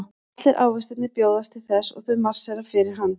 Allir ávextirnir bjóðast til þess og þau marsera fyrir hann.